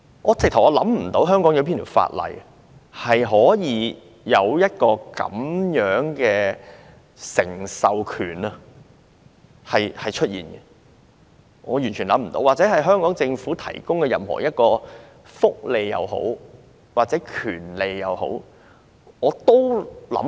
我想不到香港哪項法例有訂定這種繼承權，也完全想不到香港政府曾提供這樣的一項福利或權利。